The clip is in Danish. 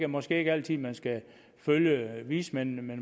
måske ikke altid man skal følge vismændene men